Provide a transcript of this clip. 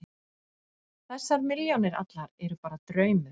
Þessar milljónir allar eru bara draumur.